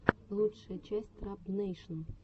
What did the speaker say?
лучшая часть трап нэйшн